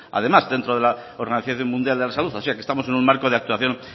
además en dentro de la organización mundial de la salud o sea que estamos en un marco de actuación